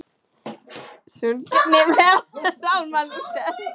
Sungnir verða sálmar Lúters.